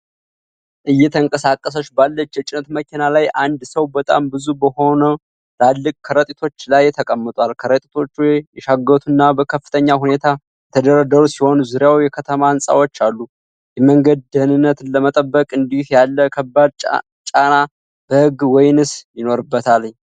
እየተንቀሳቀሰች ባለች የጭነት መኪና ላይ፣ አንድ ሰው በጣም ብዙ በሆኑ ትላልቅ ከረጢቶች ላይ ተቀምጧል። ከረጢቶቹ የሻገቱና በከፍተኛ ሁኔታ የተደረደሩ ሲሆኑ፣ ዙሪያው የከተማ ሕንፃዎች አሉ። የመንገድ ደኅንነትን ለመጠበቅ እንዲህ ያለው ከባድ ጫና በሕግ መወሰን ይኖርበታልን?